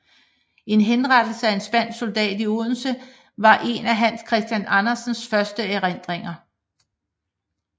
En henrettelse af en spansk soldat i Odense var en af Hans Christian Andersens første erindringer